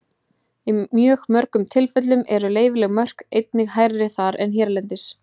Í mjög mörgum tilfellum eru leyfileg mörk einnig hærri þar en hérlendis.